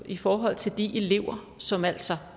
i forhold til de elever som altså